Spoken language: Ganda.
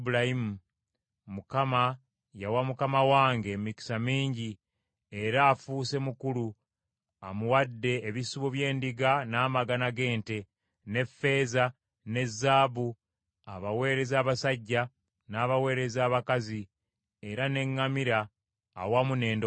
Mukama yawa mukama wange emikisa mingi, era afuuse mukulu, amuwadde ebisibo by’endiga n’amagana g’ente, ne ffeeza ne zaabu, abaweereza abasajja n’abaweereza abakazi era n’eŋŋamira awamu n’endogoyi.